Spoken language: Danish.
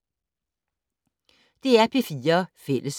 DR P4 Fælles